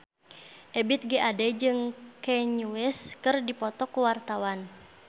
Ebith G. Ade jeung Kanye West keur dipoto ku wartawan